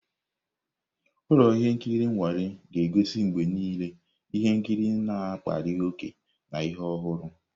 Ụlọ ihe nkiri nnwale ga-egosi mgbe niile ihe nkiri na-akpali ókè na ihe ọhụrụ.